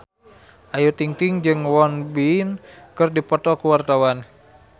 Ayu Ting-ting jeung Won Bin keur dipoto ku wartawan